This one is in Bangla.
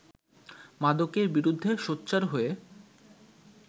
মাদকের বিরুদ্ধে সোচ্চার হয়ে